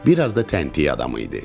Bir az da təntiy adamı idi.